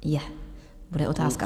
Je, bude otázka.